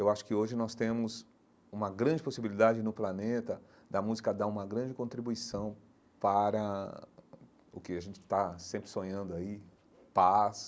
Eu acho que hoje nós temos uma grande possibilidade no planeta da música dar uma grande contribuição para o que a gente está sempre sonhando aí, paz,